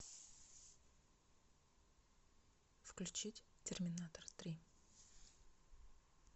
включить терминатор три